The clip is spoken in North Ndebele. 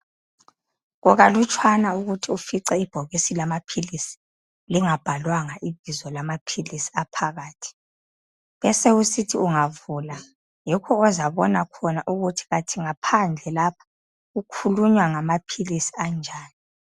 Kukalutshwane ukuthi ufice ibhokisi lamaphilisi lingabhalwanga ibizo lamaphilisi aphakathi. Besekusithi ungavula yikho ozabona khona ukuthi kanti ngaphandle lapha kukhulunywa ngamaphilisi anjani.